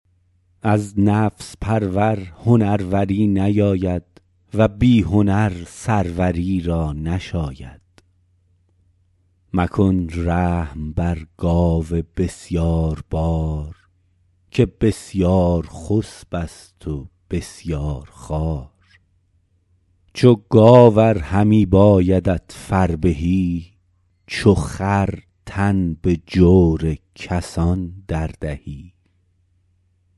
از نفس پرور هنروری نیاید و بی هنر سروری را نشاید مکن رحم بر گاو بسیاربار که بسیارخسب است و بسیارخوار چو گاو ار همی بایدت فربهی چو خر تن به جور کسان در دهی